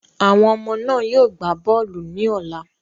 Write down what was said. Àwọn ọmọ náà yóò gbá bọ́ọ̀lù ní ọ̀la